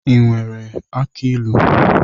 I nwere aki ilu?